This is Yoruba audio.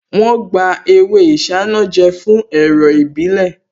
Wọ́n gba ewé isanaje fún èrò ìbílè